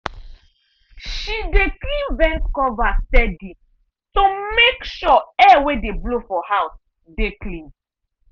she dey clean vent cover steady to make sure air wey dey blow for house dey clean.